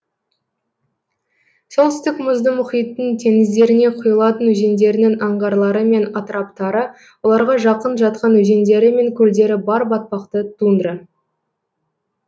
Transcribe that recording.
солтүстік мұзды мұхиттың теңіздеріне құйылатын өзендерінің аңғарлары мен атыраптары оларға жақын жатқан өзендері мен көлдері бар батпақты тундра